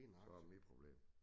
Så det mit problem